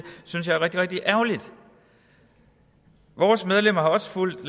synes jeg er rigtig rigtig ærgerligt vores medlemmer har også fulgt